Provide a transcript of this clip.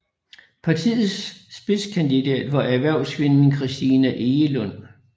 Partiets spidskandidat var erhvervskvinden Christina Egelund